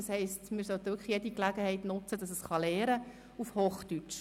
Wir sollten wirklich jede Gelegenheit nutzen, damit das Programm lernen kann – auf Hochdeutsch.